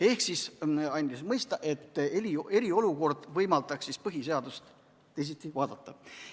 Ehk ta andis mõista, et eriolukord võimaldaks põhiseadust teisiti vaadata.